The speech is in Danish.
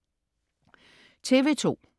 TV2: